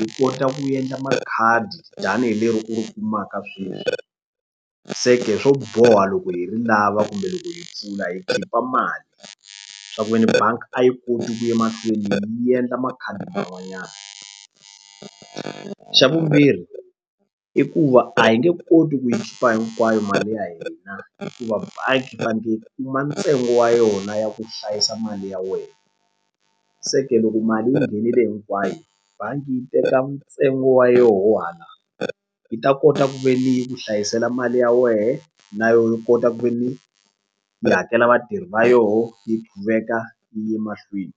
yi kota ku endla makhadi tanihi leri u ri kumaka sweswi seke swo boha loko hi ri lava kumbe loko hi pfula hi khipha mali swa ku veni banga a yi koti ku ye mahlweni yi endla makhadi man'wanyana xa vumbirhi i ku va a yi nge koti ku yi khipa hinkwayo mali ya hina hikuva bangi yi faneke ku ma ntsengo wa yona ya ku hlayisa mali ya wena se ke loko mali yi nghenile hinkwayo bangi yi teka ntsengo wa yoho hala yi ta kota ku ve ni yi ku hlayisela mali ya wehe na yo yi kota ku ve ni hi hakela vatirhi va yoho ni ku veka yi ye mahlweni.